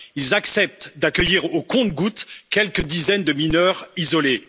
Ils acceptent d'accueillir au compte gouttes quelques dizaines de mineurs isolés.